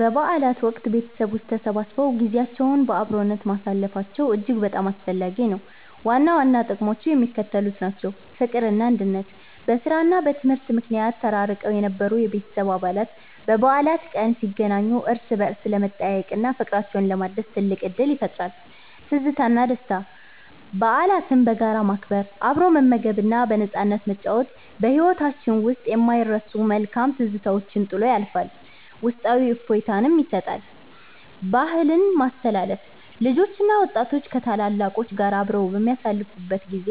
በበዓላት ወቅት ቤተሰቦች ተሰብስበው ጊዜያቸውን በአብሮነት ማሳለፋቸው እጅግ በጣም አስፈላጊ ነው። ዋና ዋና ጥቅሞቹ የሚከተሉት ናቸው፦ ፍቅርና አንድነት፦ በሥራና በትምህርት ምክንያት ተራርቀው የነበሩ የቤተሰብ አባላት በበዓል ቀን ሲገናኙ እርስ በርስ ለመጠያየቅና ፍቅራቸውን ለማደስ ትልቅ ዕድል ይፈጥራል። ትዝታና ደስታ፦ በዓላትን በጋራ ማክበር፣ አብሮ መመገብና በነፃነት መጨዋወት በሕይወታችን ውስጥ የማይረሱ መልካም ትዝታዎችን ጥሎ ያልፋል፤ ውስጣዊ እፎይታም ይሰጣል። ባህልን ማስተላለፍ፦ ልጆችና ወጣቶች ከታላላቆች ጋር አብረው በሚያሳልፉበት ጊዜ